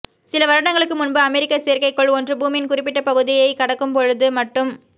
சில வருடங் களுக்கு முன்பு அமெரிக்க செயற்கைகோள் ஒன்று பூமியின் குறிப்பிட்ட பகுதி யை கடக்கும் பொது மட்டு ம்